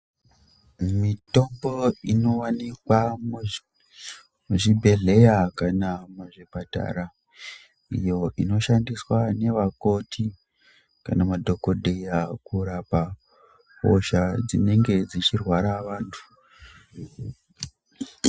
Mitombo ino wanikwawo muzvibhedhlera kana muzvipatara iyo inoshandiswa nevakoti kana madhokodheya kurapa hosha dzinenge dzichi rwea vantu.